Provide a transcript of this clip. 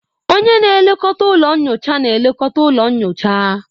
Onye na-elekọta ụlọ nyocha na-elekọta ụlọ nyocha